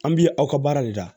An bi aw ka baara de la